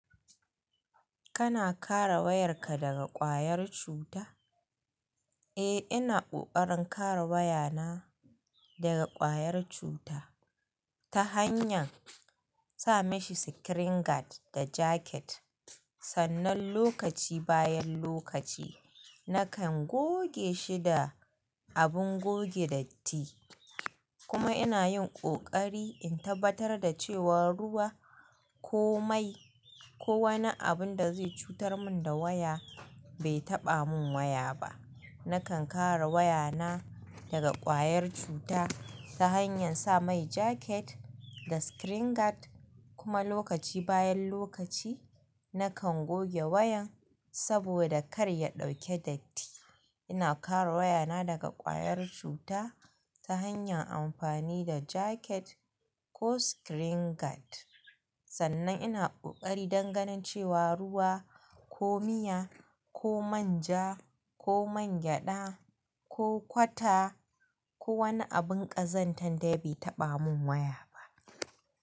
Kana kare wayarka daga kwayar cuta? Eh, ina ƙoƙarin kare wayana daga ƙwayar cuta ta hanyar sa mashi screen guard da jacket. Sannan lokaci bayan lokaci nakan goge shi da abin goge datti. Kuma ina yin ƙoƙari in tabbatar da cewa ruwa ko mai ko wani abin da zai cutar mun da waya bai taɓa mun waya ba. Nakan kare wayana daga kwayar cuta ta hanyar sa mai jaket da screen guard. Kuma lokaci bayan lokaci nakan goge wayan saboda kar ya ɗauke datti. Ina kare wayana daga kwayar cuta ta hanyar amfani da jaket ko screen guard. Sannan ina ƙoƙari dan ganin cewa ruwa ko miya ko manja ko man gyada ko kwata ko wani abin ƙazantar dai bai taɓa mun waya ba.